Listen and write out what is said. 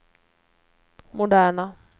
moderna